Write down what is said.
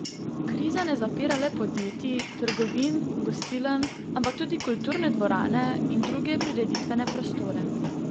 Kriza ne zapira le podjetij, trgovin, gostiln, ampak tudi kulturne dvorane in druge prireditvene prostore.